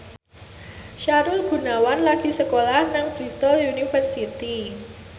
Sahrul Gunawan lagi sekolah nang Bristol university